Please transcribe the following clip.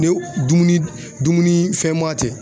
Ne dumuni dumuni fɛn ma tɛ